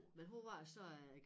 Men hun var så øh